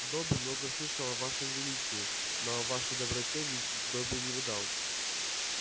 добби много слышал о вашем величии но о вашей доброте добби не ведал